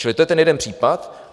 Čili to je ten jeden případ.